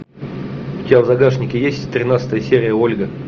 у тебя в загашнике есть тринадцатая серия ольга